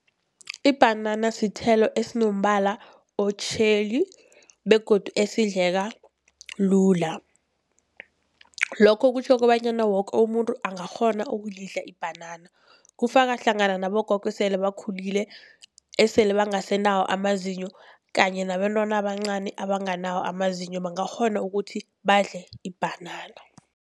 Ibhanana sithelo esinombala otjheli begodu esidleka lula. Lokho kutjho kobanyana woke umuntu angakghona ukulidla ibhanana, kufaka hlangana nabogogo esele bakhulile esele bangasenawo amazinyo, kanye nabentwana abancani abanganawo amazinyo bangakghona ukuthi badle ibhanana.